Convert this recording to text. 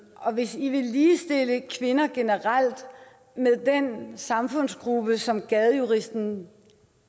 og hvis i vil ligestille kvinder generelt med den samfundsgruppe som gadejuristen